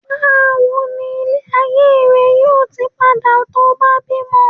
bawo ni ile ayé rẹ yíò tí ti pada to ba bímọ